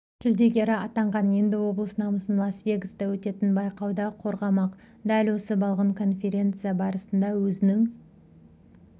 жүлдегері атанған енді облыс намысын лас-вегаста өтетін байқауда қорғамақ дәл осы балғын конференция барысында өзінің